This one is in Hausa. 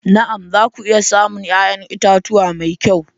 Na'am! za ku iya samun 'ya'yan itatuwa mai kyau.